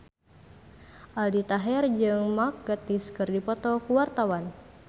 Aldi Taher jeung Mark Gatiss keur dipoto ku wartawan